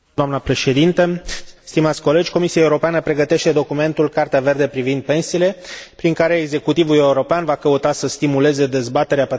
Comisia Europeană pregătește documentul Cartea verde privind pensiile, prin care executivul european va căuta să stimuleze dezbaterea pe tema unei strategii europene a pensiilor.